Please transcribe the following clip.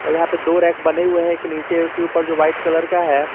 और यहां पे दो रैक बने हुए हैं एक नीचे के ऊपर जो वाइट कलर का है।